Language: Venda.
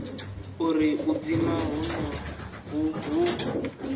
uri u dzima honoho hu